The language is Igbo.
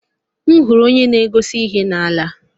M zutere onye na-egosi ihe na-ala.